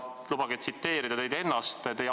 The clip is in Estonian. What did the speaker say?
Lubage tsiteerida teid ennast!